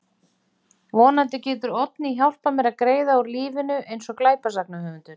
Vonandi getur Oddný hjálpað mér að greiða úr lífinu eins og glæpasagnahöfundur.